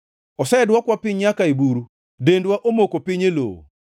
Osedwokwa piny nyaka e buru, dendwa omoko piny e lowo.